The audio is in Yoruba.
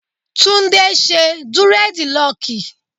Tunde ṣe durediloki.